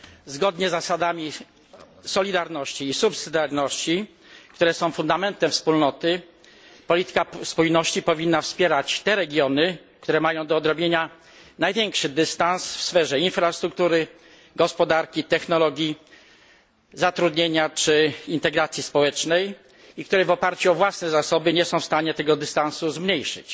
Zgodnie z zasadami solidarności i pomocniczości, które są fundamentem Wspólnoty, polityka spójności powinna wspierać te regiony, które mają do odrobienia największy dystans w sferze infrastruktury, gospodarki, technologii, zatrudnienia czy integracji społecznej i które w oparciu o własne zasoby nie są w stanie tego dystansu zmniejszyć.